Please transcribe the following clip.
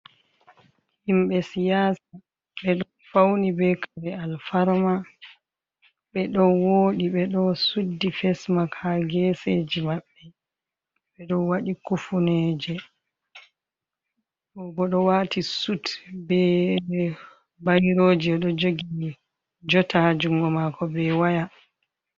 Himɓe siyasa ɓeɗo fauni be kare alfarma ɓeɗo woɗi ɓeɗo suddi fesmak ha geseji maɓɓe, ɓeɗo waɗi kufuneje, obo ɗo wati sut be bairoji oɗo jogi jota ha jungo mako be waya.